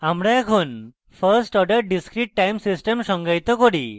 আমরা এখন first order discrete time system সংজ্ঞায়িত করি